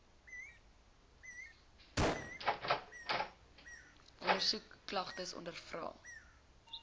ondersoek klagtes ondervra